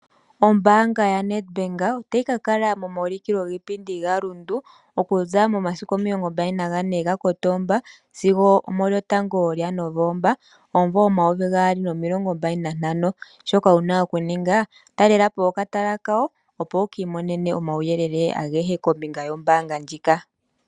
Ombaanga yaNedbank otayi ka kala momaulukilo giipindi gaRundu okuza momasiku 24 Kotoba sigo 1 Novemba 2025. Shoka wu na okuninga okutalela po okatala kawo, opo wu ka imonene omauyele agehe kombinga yombaanga ndjika.